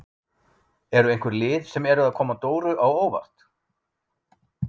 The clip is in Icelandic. Eru einhver lið sem eru að koma Dóru á óvart?